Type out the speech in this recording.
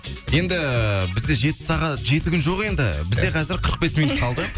енді ііі бізде жеті сағат жеті күн жоқ енді бізде қазір қырық бес минут қалды